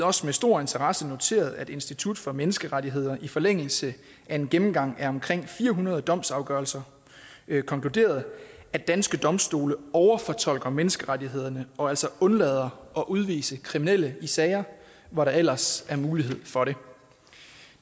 også med stor interesse noteret sig at institut for menneskerettigheder i forlængelse af en gennemgang af omkring fire hundrede domsafgørelser konkluderede at danske domstole overfortolker menneskerettighederne og altså undlader at udvise kriminelle i sager hvor der ellers er mulighed for det